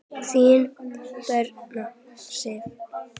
Þín, Birna Sif.